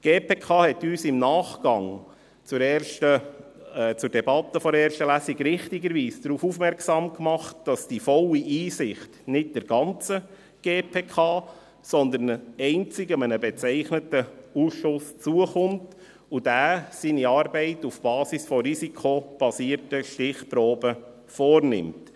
Die GPK machte uns im Nachgang zur Debatte der ersten Lesung richtigerweise darauf aufmerksam, dass die volle Einsicht nicht der ganzen GPK, sondern einzig einem bezeichneten Ausschuss zukommt und dass dieser seine Arbeit auf der Basis von risikobasierten Stichproben vornimmt.